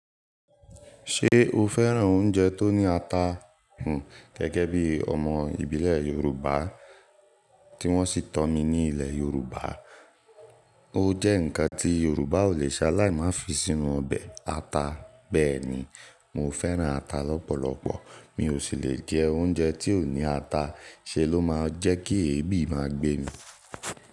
Ṣé o fẹ́ràn oúnjẹ tó ní ata? Gẹ́gẹ́ bí ọmọ ìbílẹ̀ Yorùbá tí wọ́n sì tọ́ mi ní ilẹ̀ Yorùbá, ó jẹ́ ǹkan tí Yorùbá ò lè ṣaláì má fi sínú ọbẹ̀, ata. Bẹ́ẹ̀ ni, mo fẹ́ràn ata lọ́pọ̀lọpọ̀, mi ò sì lè jẹ oúnjẹ tí ò ní ata. Ṣé ló máa jẹ́ kí èébì máa gbé ni?